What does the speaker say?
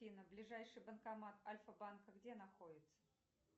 афина ближайший банкомат альфабанка где находится